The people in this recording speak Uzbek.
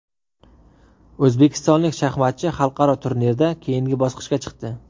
O‘zbekistonlik shaxmatchi xalqaro turnirda keyingi bosqichga chiqdi.